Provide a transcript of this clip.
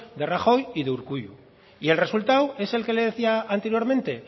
de rajoy y de urkullu y el resultado es el que le decía anteriormente